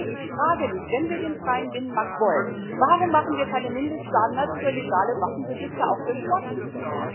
Ich frage mich Wenn wir den freien Binnenmarkt wollen, warum machen wir keine Mindeststandards für legale Waffenbesitzer auch für Sportschützen?